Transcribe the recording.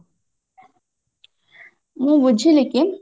ମୁଁ ବୁଝିଲି କି